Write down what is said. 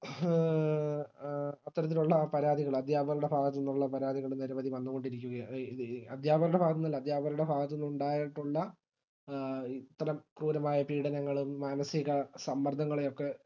A അത്തരത്തിലുള്ള പരാതികള് അധ്യാപകരുടെ ഭാഗത്തുനിന്നുള്ള പരാതികള് നിരവധി വന്നുകൊണ്ടിരിക്കുക എ ഇത് ഇ അധ്യാപകരുടെ ഭാഗത്തുനിന്നല്ല അധ്യാപകരുടെ ഭാഗത്തുനിന്നുണ്ടായിട്ടുള്ള ഇത്തരം ക്രൂരമായ പീഡനങ്ങളും മാനസിക സമ്മർദങ്ങളും ഒക്കെ